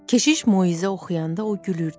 Keşiş moizə oxuyanda o gülürdü.